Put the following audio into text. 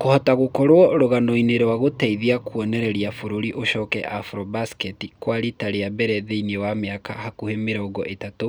Kũhota gũkorwo rũganoinĩ na gũteithia kuonereria bũrũri ucoke Afrobasketi kwa rita rĩa mbere thĩinĩ wa miaka hakuhĩ mirongo itatũ